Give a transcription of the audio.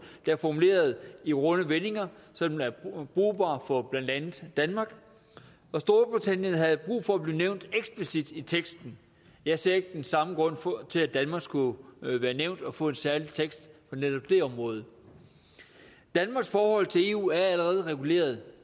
der er formuleret i runde vendinger sådan at den er brugbar for blandt andet danmark storbritannien havde brug for at blive nævnt eksplicit i teksten jeg ser ikke den samme grund til at danmark skulle være nævnt og få en særlig tekst på netop det område danmarks forhold til eu er allerede reguleret